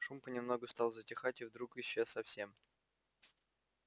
шум понемногу стал затихать и вдруг исчез совсем